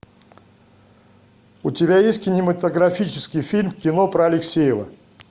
у тебя есть кинематографический фильм кино про алексеева